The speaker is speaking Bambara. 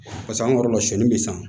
Paseke an ka yɔrɔ la sɔsɔli bɛ san